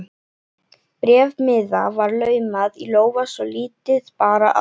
Bréfmiða var laumað í lófa svo lítið bar á.